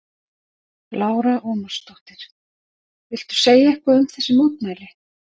Lára Ómarsdóttir: Viltu segja eitthvað um þessi mótmæli?